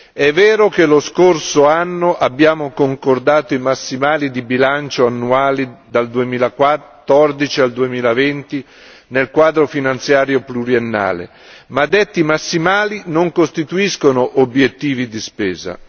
È vero che lo scorso anno abbiamo concordato i massimali di bilancio annuali dal 2014 al 2020 nel Quadro finanziario pluriennale, ma detti massimali non costituiscono obiettivi di spesa.